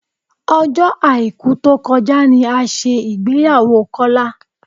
Ọjọ́ Àìkú tó kọjá ni a ṣe ìgbéyàwó Kọ́lá